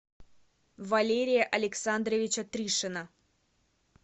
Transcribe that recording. валерия александровича тришина